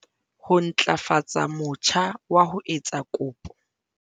Ho ntlafatsa motjha wa ho etsa kopo